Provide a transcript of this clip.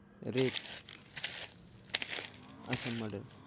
rape আচ্ছা murder.